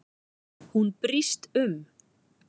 Hún brýst um.